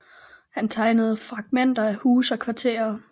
Han tegnede fragmenter af huse og kvarterer